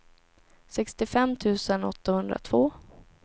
sextiofem tusen åttahundratvå